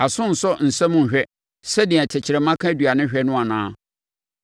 Aso nsɔ nsɛm nnhwɛ, sɛdeɛ tɛkrɛma ka aduane hwɛ no anaa?